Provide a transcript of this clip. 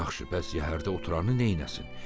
Yaxşı, bəs yəhərdə oturanı neyləsin?